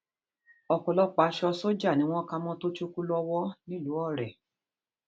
ọpọlọpọ aṣọ sójà ni wọn kà mọ tochukwu lọwọ nílùú ọrẹ